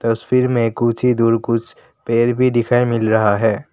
तस्वीर में कुछ ही दूर कुछ पैर भी दिखाई मिल रहा है।